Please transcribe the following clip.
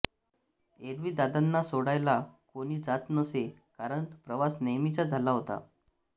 एरवी दादांना सोडायला कोणी जात नसे कारण प्रवास नेहमीचाच झाला होता